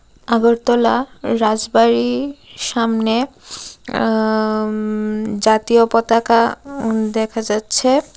আগরতলা রাজবাড়ির সামনে আ উম জাতীয় পতাকা উম দেখা যাচ্ছে।